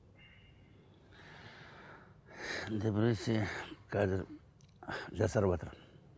қазір жасарыватыр